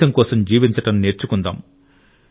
దేశం కోసం జీవించడం నేర్చుకుందాం